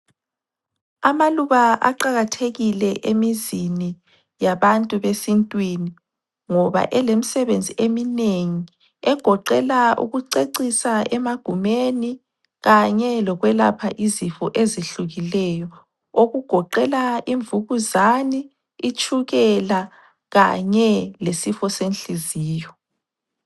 Amaluba aqakathekile emizini yabantu besintwini ngoba elemsebenzi eminengi, egoqela ukucecisa emagumeni kanye lokwelapha izifo ezihlukileyo okugoqela imvukuzane, itshukela kanye lesifo senhliziyo.